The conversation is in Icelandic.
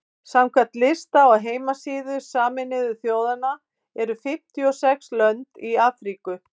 samkvæmt lista á heimasíðu sameinuðu þjóðanna eru fimmtíu og sex lönd í afríku